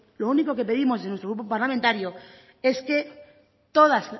lo único que pedimos en nuestro grupo parlamentario es que todas